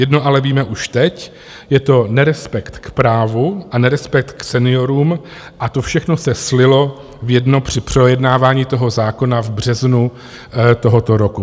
Jedno ale už víme teď, je to nerespekt k právu a nerespekt k seniorům, a to všechno se slilo v jedno při projednávání toho zákona v březnu tohoto roku.